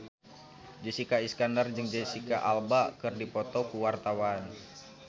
Jessica Iskandar jeung Jesicca Alba keur dipoto ku wartawan